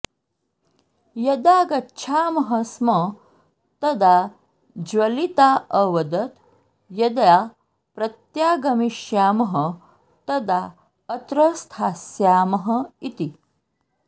यदा गच्छामः स्म तदा ज्वलिता अवदत् यदा प्रत्यागमिष्यामः तदा अत्र स्थास्यामः इति